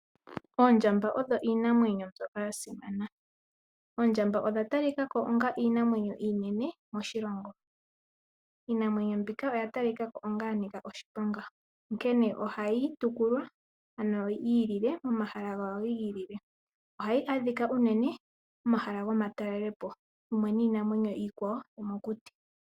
Oondjamba odho iinamwenyo mbyoka ya simana. Oondjamba odha talika ko onga iinamwenyo iinene moshilongo, iinamwenyo mbika oya talikako onga ya nika oshiponga onkene ohayi topolwa ano yi ilile mo mahala gawo gi ilile. Ohayi adhika unene momahala goma talelopo mumwe niinamwenyo iikwawo nokuli.